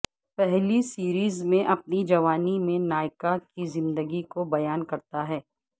پہلی سیریز میں اپنی جوانی میں نایکا کی زندگی کو بیان کرتا ہے